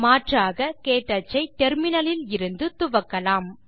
மாற்றாக க்டச் ஐ டெர்மினல் இலிருந்து துவக்கலாம்